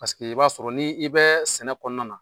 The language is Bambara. Paseke i b'a sɔrɔ ni i bɛ sɛnɛ kɔnɔna na